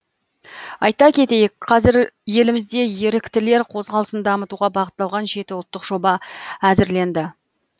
айта кетейік қазір елімізде еріктілер қозғалысын дамытуға бағытталған жеті ұлттық жоба әзірленді